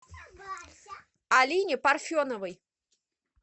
алине парфеновой